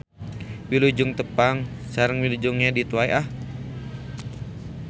Wilujeng tepang sareng wilujeng ngedit wae ah.